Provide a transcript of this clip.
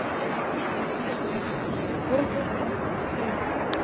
Sænsk fréttakona: Var þetta erfið ákvörðun?